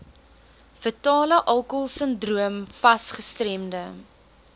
fetalealkoholsindroom fas gestremde